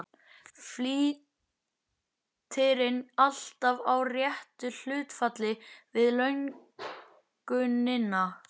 Flýtirinn alltaf í réttu hlutfalli við löngunina.